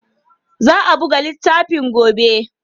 Za a buga littafin gobe.